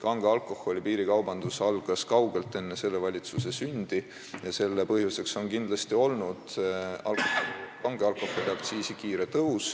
Kange alkoholi piirikaubandus algas kaugelt enne selle valitsuse sündi ja selle põhjuseks on kindlasti olnud kange alkoholi aktsiisi kiire tõus.